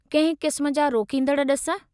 कंहिं क़िस्म जा रोकींदड़ ड॒सु?